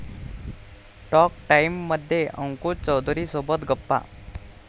talk टाईममध्ये अंकुश चौधरीसोबत गप्पा